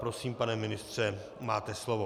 Prosím, pane ministře, máte slovo.